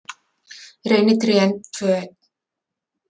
Reynitrén tvö eign